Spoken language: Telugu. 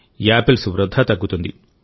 యాపిల్స్ వృధా తగ్గుతుంది